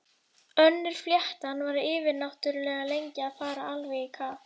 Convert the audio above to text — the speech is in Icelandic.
Önnur fléttan var yfirnáttúrlega lengi að fara alveg í kaf.